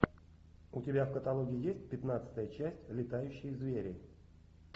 у тебя в каталоге есть пятнадцатая часть летающие звери